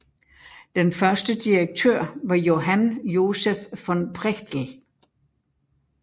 Den første direktør var Johann Joseph von Prechtl